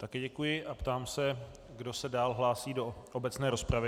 Také děkuji a ptám se, kdo se dál hlásí do obecné rozpravy.